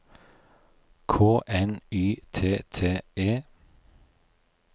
K N Y T T E